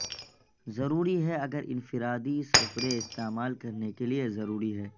ضروری ہے اگر انفرادی سپرے استعمال کرنے کے لئے یہ ضروری ہے